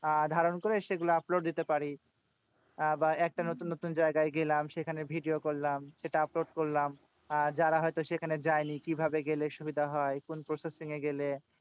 আহ ধারণ করে সেগুলো upload দিতে পারি। আহ বা একটা নতুন নতুন জায়গায় গেলাম। সেখানে video করলাম। সেটা upload করলাম। আহ যারা হয়তো সেখানে যায়নি, কিভাবে গেলে সুবিধা হয়? কোন processing এ গেলে